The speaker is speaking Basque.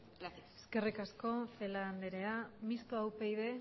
gracias eskerrik asko celaá andrea mistoa upyd